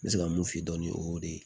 N bɛ se ka mun f'i ye dɔɔnin o y'o ye